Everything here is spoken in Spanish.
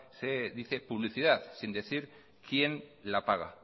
se dice publicidad sin decir quién la paga